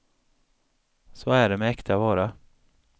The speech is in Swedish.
Så är det med äkta vara.